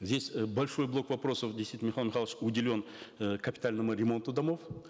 здесь э большой блок вопросов действительно михаил михайлович уделен э капитальному ремонту домов